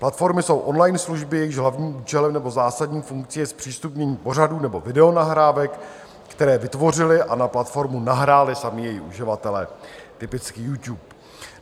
Platformy jsou online služby, jejichž hlavním účelem nebo zásadní funkcí je zpřístupnění pořadů nebo videonahrávek, které vytvořili a na platformu nahráli sami její uživatelé, typicky YouTube.